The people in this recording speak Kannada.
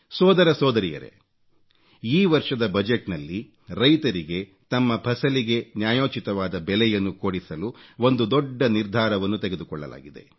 ಸೋದರ ಸೋದರಿಯರೇ ಈ ವರ್ಷದ ಬಜೆಟ್ ನಲ್ಲಿ ರೈತರಿಗೆ ತಮ್ಮ ಫಸಲಿಗೆ ನ್ಯಾಯೋಚಿತವಾದ ಬೆಲೆಯನ್ನು ಕೊಡಿಸಲು ಒಂದು ದೊಡ್ಡ ನಿರ್ಧಾರವನ್ನು ತೆಗೆದುಕೊಳ್ಳಲಾಗಿದೆ